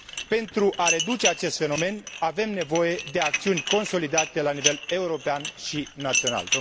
Pentru a reduce acest fenomen, avem nevoie de acțiuni consolidate la nivel european și național.